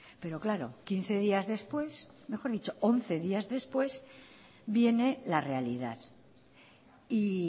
pero claro quince días después mejor dicho once días después viene la realidad y